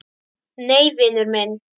Nei, vinur minn.